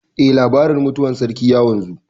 Eh, labarin mutuwar sarkin ya wanzu